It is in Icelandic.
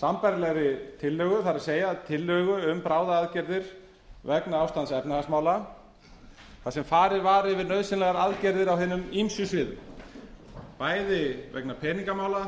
sambærilegri tillögu það er tillögu um bráðaaðgerðir vegna ástands efnahagsmála þar sem farið var yfir nauðsynlegar aðstæður á hinum ýmsu sviðum bæði vegna peningamála